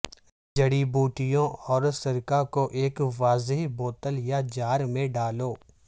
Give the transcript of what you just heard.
جڑی بوٹیوں اور سرکہ کو ایک واضح بوتل یا جار میں ڈالو